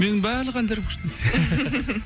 менің барлық әндерім күшті десең